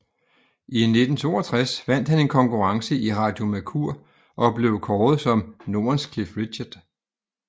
I 1962 vandt han en konkurrence i Radio Mercur og blev kåret som Nordens Cliff Richard